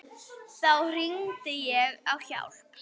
Þá hringdi ég á hjálp.